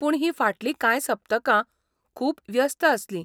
पूण हीं फाटलीं कांय सप्तकां खूब व्यस्त आसलीं.